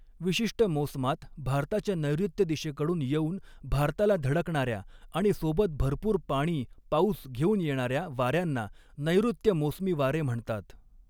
विशिष्ट मोसमात भारताच्या नैर्ऋत्य दिशेकडून येऊन भारताला धडकणाऱ्या आणि सोबत भरपूर पाणी पाऊस घेऊन येणाऱ्या वाऱ्यांना नैर्ऋत्य मोसमी वारे म्हणतात.